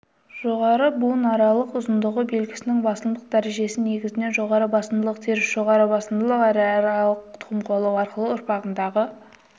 жоғарғы буынаралықтың ұзындығы белгісінің басымдылық дәрежесі негізінен жоғары басымдылық теріс жоғары басымдылық және аралық тұқым қуалау арқылы ұрпағындағы